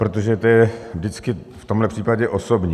Protože to je vždycky v tomhle případě osobní.